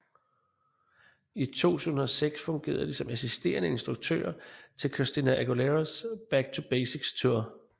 I 2006 fungerede de som assisterende instruktører til Christina Aguileras Back to Basics Tour